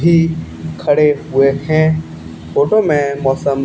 भी खड़े हुए हैं फोटो में मौसम--